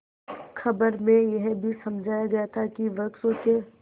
खबर में यह भी समझाया गया था कि वृक्षों के